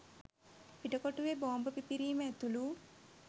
පිටකොටුවේ බෝම්බ පිපිරීම ඇතුළු